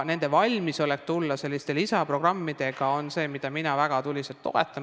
Nende valmisolek tulla välja selliste lisaprogrammidega on see, mida mina väga tuliselt toetan.